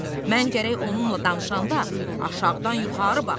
Mən gərək onunla danışanda aşağıdan yuxarı baxım.